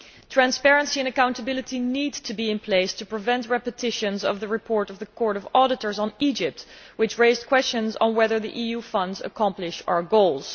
Transparency and accountability need to be in place to prevent repetitions of the report of the Court of Auditors on Egypt, which raised questions on whether the EU funds accomplish our goals.